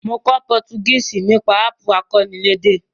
Mo kó Portuguese nípasẹ̀ app akọ́nilédè